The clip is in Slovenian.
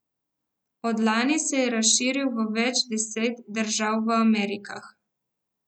Od lani se je razširil v več deset držav v Amerikah.